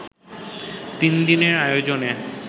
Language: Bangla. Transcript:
তিন দিনের আয়োজনে